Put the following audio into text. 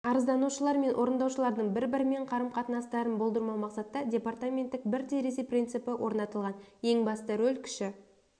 арызданушылармен орындаушылардың бір-бірімен қарым қатынастарын болдырмау мақсатта департаменттек бір терезе принципі орнатылған ең басты роль кіші